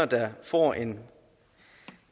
der får en